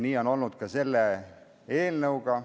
Nii on olnud ka selle eelnõuga.